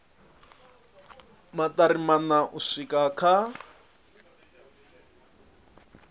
maṱari maṋa u swika kha